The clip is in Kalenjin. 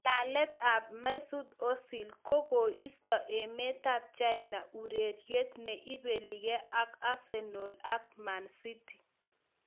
Ng'alalet ab Mesut Ozil: Kogoisto emetab China ureriet ne ibeligee ak Arsenal ak Mancity